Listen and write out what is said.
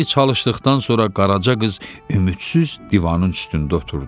Xeyli çalışdıqdan sonra Qaraca qız ümidsiz divanın üstündə oturdu.